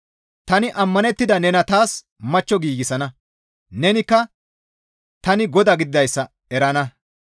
Tani ammanettada nena taas machcho giigsana. Nenikka tani GODA gididayssa erana.